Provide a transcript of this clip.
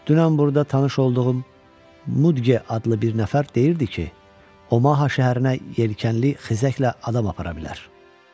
Dünən burada tanış olduğum Mudqe adlı bir nəfər deyirdi ki, Omaha şəhərinə yelkənli xizəklə adam apara bilər.